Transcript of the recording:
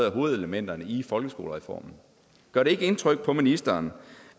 af hovedelementerne i folkeskolereformen gør det ikke indtryk på ministeren